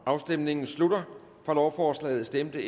afstemningen slutter for lovforslaget stemte